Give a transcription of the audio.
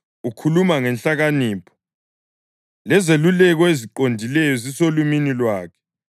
Ukhuluma ngenhlakanipho, lezeluleko eziqondileyo zisolimini lwakhe.